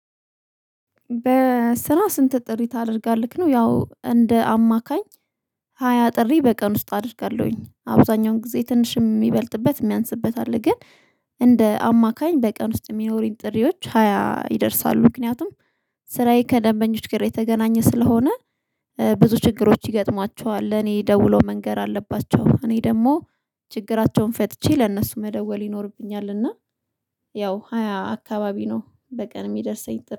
በስራ ስንት ጥሪ ታደርጋለህ? ነው ያው እንደ አማካኝ ሃያ ጥሪ በቀን ውስጥ አድርጋለሁኝ። አብዛኛውን ጊዜ ትንሽ የሚበልጥበት የሚያንስበት አለ ግን እንደ አማካኝ በቀን ውስጥ የሚኖሩኝ ጥሪዎች ሃያ ይደርሳሉ ምክንያቱም ስራዬ ከደንበኞች ጋር የተገናኘ ስለሆነ ብዙ ችግሮች ይገጥሟቸዋል ለኔ ደውሎ መንገር አለባቸው እኔ ደግሞ ችግራቸውን ፈጥቼ ለእነሱ መደወል ይኖርብኛል እና ያው ሃያ አካባቢ ነው በቀን የሚደርሰኝ ጥሪ።